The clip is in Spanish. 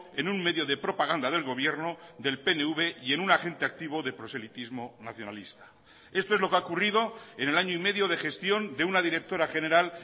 en un medio de propaganda del gobierno del pnv y en un agente activo de proselitismo nacionalista esto es lo que ha ocurrido en el año y medio de gestión de una directora general